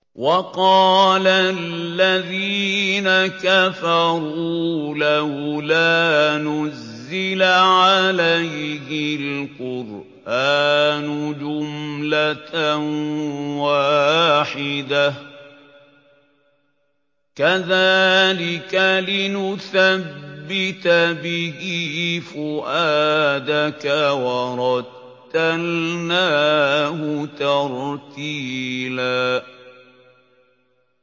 وَقَالَ الَّذِينَ كَفَرُوا لَوْلَا نُزِّلَ عَلَيْهِ الْقُرْآنُ جُمْلَةً وَاحِدَةً ۚ كَذَٰلِكَ لِنُثَبِّتَ بِهِ فُؤَادَكَ ۖ وَرَتَّلْنَاهُ تَرْتِيلًا